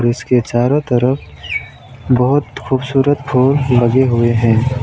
इसके चारों तरफ बहुत खूबसूरत फूल लगे हुए हैं।